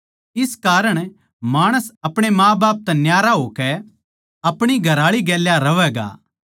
इस कारण माणस आपणे माँबाप तै न्यारा होकै आपणी घरआळी गेल्या रहवैगा